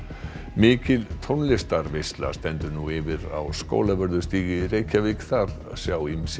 mikil tónlistarveisla stendur nú yfir á Skólavörðustíg í Reykjavík þar sjá ýmsir